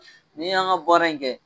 N'i y'an ga bɔra in kɛ